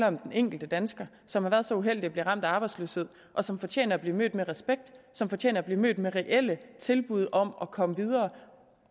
om den enkelte dansker som har været så uheldig at blive ramt af arbejdsløshed og som fortjener at blive mødt med respekt og som fortjener at blive mødt med reelle tilbud om at komme videre